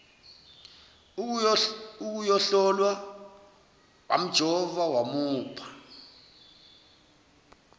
ukuyohlolwa wamjova wamupha